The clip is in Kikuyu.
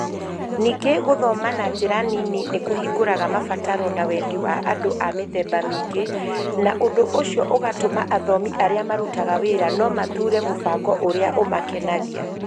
Ningĩ gũthoma na njĩra nini nĩ kũhingũraga mabataro na wendi wa andũ a mĩthemba mĩingĩ, na ũndũ ũcio ũgatũma athomi arĩa marutaga wĩra na mathuure mũbango ũrĩa ũmakenagia.